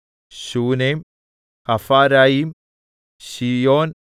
Shunem Hapharaim Shion